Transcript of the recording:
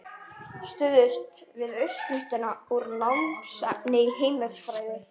Stuðst við uppskrift úr námsefni í heimilisfræði.